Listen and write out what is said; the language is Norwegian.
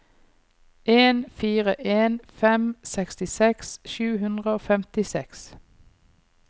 en fire en fem sekstiseks sju hundre og femtiseks